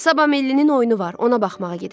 Sabah millinin oyunu var.